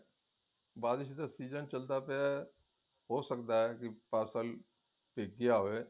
ਬਾਰਿਸ਼ ਦਾ season ਚੱਲਦਾ ਪਿਆ ਹੋ ਸਕਦਾ ਹੈ ਕੀ parcel ਭਿੱਜ ਗਿਆ ਹੋਵੇ